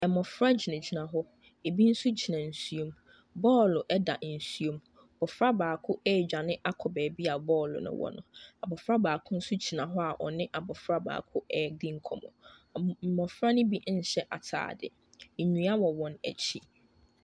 Mmɔfra gyinagyina hɔ, ebi nso gyina nsuo mu. Ball da nsuom. Abɔfra baako redwane akɔ baabi a ball no wɔ no. Abɔfra baako nso gyina hɔ a ɔne abɔfra baako redi nkɔmmɔ. Mm mmɔfra no bi nhyɛ atade. Nnua wɔ wɔn akyi.